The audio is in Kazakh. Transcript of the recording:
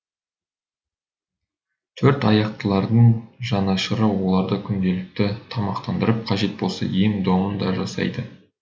төрт аяқтылардың жанашыры оларды күнделікті тамақтандырып қажет болса ем домын да жасайды